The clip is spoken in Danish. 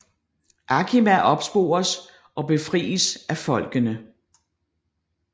Akima opspores og befries af folkene